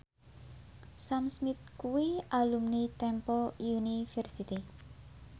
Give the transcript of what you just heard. Sam Smith kuwi alumni Temple University